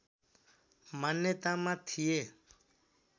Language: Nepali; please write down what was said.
मान्यतामा थिए